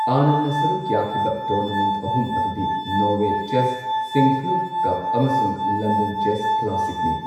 ꯑꯥꯅꯟꯗꯅ ꯁꯔꯨꯛ ꯌꯥꯈꯤꯕ ꯇꯣꯔꯅꯥꯃꯦꯟꯠ ꯑꯍꯨꯝ ꯑꯗꯨꯗꯤ ꯅꯣꯔꯋꯦ ꯆꯦꯁ, ꯁꯤꯡꯛꯐꯤꯜꯗ ꯀꯞ, ꯑꯃꯁꯨꯡ ꯂꯟꯗꯟ ꯆꯦꯁ ꯀ꯭ꯂꯥꯁꯤꯛꯅꯤ꯫